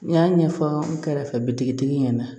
N y'a ɲɛfɔ n kɛrɛfɛ bitigi ɲɛna